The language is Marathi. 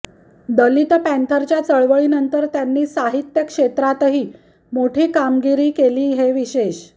दलित पँथरच्या चळवळीनंतर त्यांनी साहित्य क्षेत्रातही मोठी कामगिरी केली हे विशेष